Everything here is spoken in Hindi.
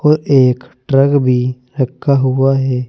और एक ट्रक भी रखा हुआ है।